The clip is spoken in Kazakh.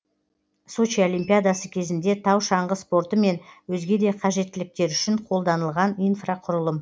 сочи олимпиадасы кезінде тау шаңғы спорты мен өзге де қажеттіліктер үшін қолданылған инфрақұрылым